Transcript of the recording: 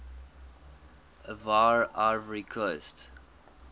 ivoire ivory coast